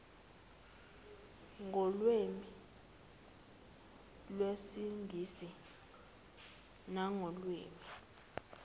ngolwimi lwesingisi nangolwimi